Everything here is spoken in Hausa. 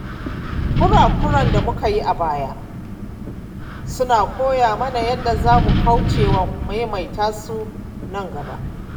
Kura-kuren da muka yi a baya suna koya mana yadda za mu kaucewa maimaita su nan gaba.